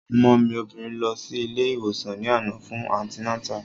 Ọmọ mi obìnrin lọ sí ilé ìwòsàn ní àná fún antinátà